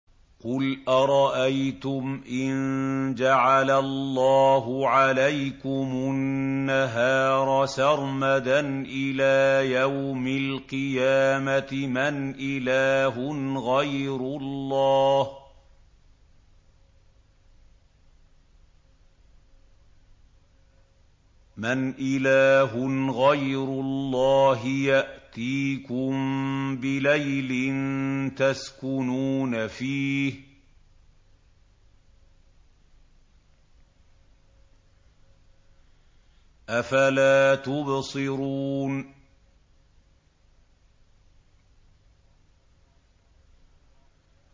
قُلْ أَرَأَيْتُمْ إِن جَعَلَ اللَّهُ عَلَيْكُمُ النَّهَارَ سَرْمَدًا إِلَىٰ يَوْمِ الْقِيَامَةِ مَنْ إِلَٰهٌ غَيْرُ اللَّهِ يَأْتِيكُم بِلَيْلٍ تَسْكُنُونَ فِيهِ ۖ أَفَلَا تُبْصِرُونَ